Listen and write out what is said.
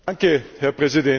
Herr Präsident!